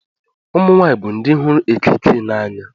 Ụmụnwany bụ ndị hụrụ ekikie n’anya